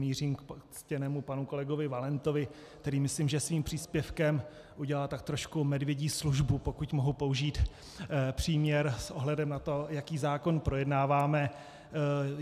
Mířím k ctěnému panu kolegovi Valentovi, který myslím, že svým příspěvkem udělal tak trošku medvědí službu, pokud mohu použít příměr, s ohledem na to, jaký zákon projednáváme.